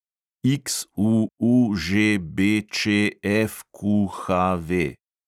XUUŽBČFQHV